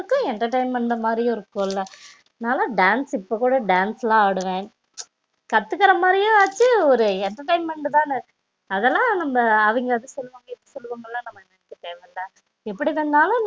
நமக்கும் entertainment மாதிரி இருக்கும்ல நாலா dance இப்போ கூட dance ல ஆடுவ கத்துகுரா மாதிரியும் ஆச்சி ஒரு entertainment தான அதுலம் நம்ப அவங்க அது சொல்லுவாக இது சொல்லுவாங்க நம்ப நினைக்க தேவ இல்ல எப்டி இருந்தாலும்